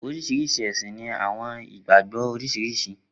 Oriṣiriṣi ẹsin ni awọn igbagbọ oriṣiriṣi.